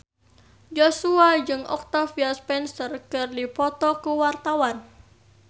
Joshua jeung Octavia Spencer keur dipoto ku wartawan